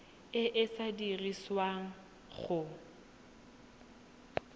e e ka dirisiwang go